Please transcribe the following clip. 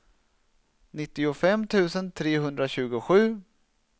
nittiofem tusen trehundratjugosju